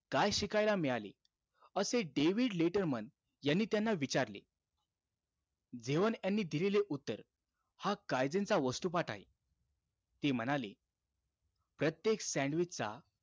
काय शिकायला मिळाले? असे डेविड लेटरमन यांनी त्यांना विचारले. झेवन यांनी दिलेले उत्तर, हा काईझेनचा वस्तुपाठ आहे. ते म्हणाले, प्रत्येक sandwich चा,